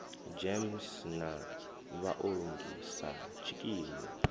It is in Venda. gems na vhaongi sa tshikimu